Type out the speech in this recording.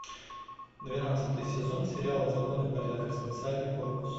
двенадцатый сезон сериала закон и порядок специальный корпус